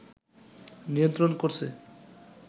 নিয়ন্ত্রণ করছে